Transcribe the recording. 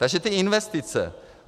Takže ty investice.